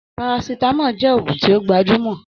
Paracetamol jẹ́ ògùn tí ó gbajúmọ̀